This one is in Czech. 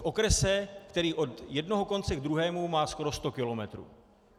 V okrese, který od jednoho konce k druhému má skoro sto kilometrů.